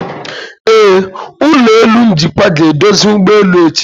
Ee, ụlọ elu njikwa ga-eduzi ụgbọelu echi.